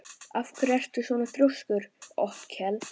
Af hverju ertu svona þrjóskur, Otkell?